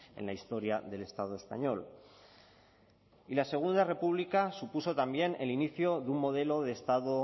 en la historia del estado español y la segunda república supuso también el inicio de un modelo de estado